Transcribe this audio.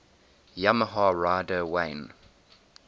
yamaha rider wayne